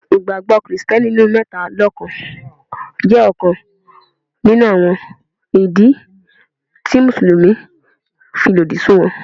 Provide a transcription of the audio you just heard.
Ìgbàgbọ́ Kristẹni nínú mẹ́ta lọ́kàn jẹ́ ọ̀kan nínú àwọn ìdí tí Mùsùlùmí fi lòdì sí wọn.